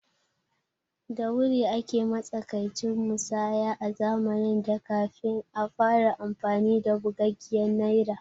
Da Wuri ake matsakaici musaya a zamanin da kafin a fara amfani da bugaggiyar Naira